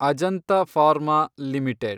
Ajanta Pharma limited